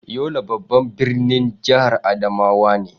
Yola babban birnin jihar Adamawa ne.